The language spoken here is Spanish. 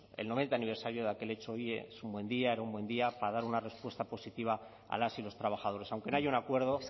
es el noventa aniversario de aquel hecho hoy es un buen día era un buen día para dar una respuesta positiva a las y los trabajadores aunque no haya un acuerdo